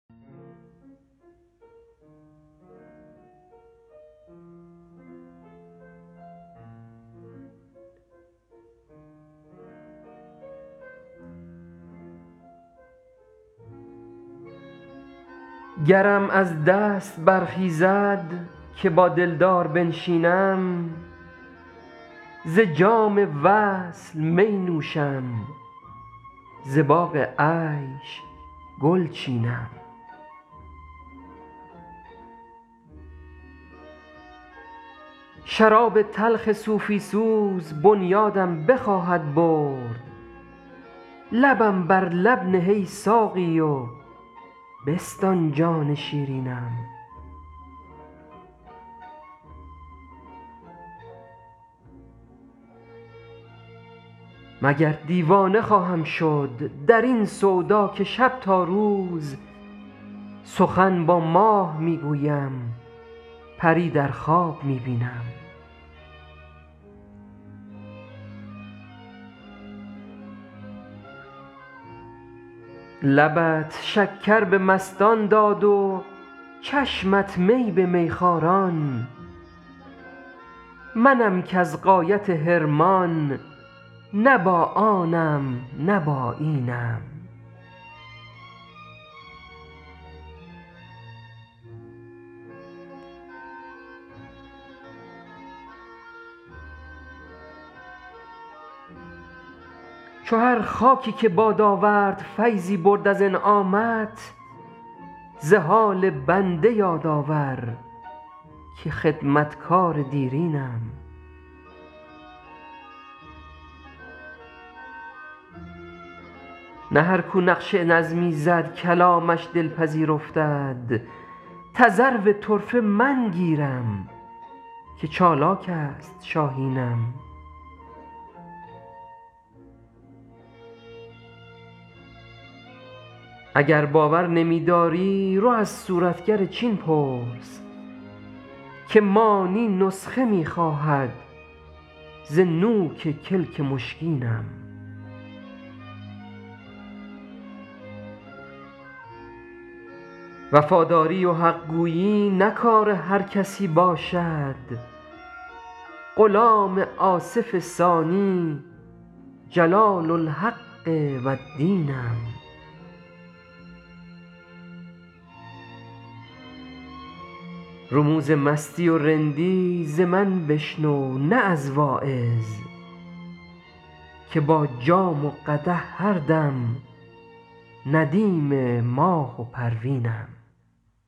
گرم از دست برخیزد که با دلدار بنشینم ز جام وصل می نوشم ز باغ عیش گل چینم شراب تلخ صوفی سوز بنیادم بخواهد برد لبم بر لب نه ای ساقی و بستان جان شیرینم مگر دیوانه خواهم شد در این سودا که شب تا روز سخن با ماه می گویم پری در خواب می بینم لبت شکر به مستان داد و چشمت می به میخواران منم کز غایت حرمان نه با آنم نه با اینم چو هر خاکی که باد آورد فیضی برد از انعامت ز حال بنده یاد آور که خدمتگار دیرینم نه هر کو نقش نظمی زد کلامش دلپذیر افتد تذرو طرفه من گیرم که چالاک است شاهینم اگر باور نمی داری رو از صورتگر چین پرس که مانی نسخه می خواهد ز نوک کلک مشکینم وفاداری و حق گویی نه کار هر کسی باشد غلام آصف ثانی جلال الحق و الدینم رموز مستی و رندی ز من بشنو نه از واعظ که با جام و قدح هر دم ندیم ماه و پروینم